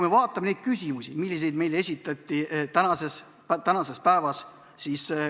Vaatame neid küsimusi, mis meile täna esitati täna.